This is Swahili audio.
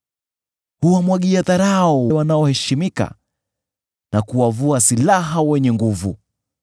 Huwamwagia dharau wanaoheshimika, na kuwavua silaha wenye nguvu.